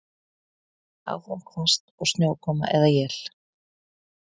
Áfram hvasst og snjókoma eða él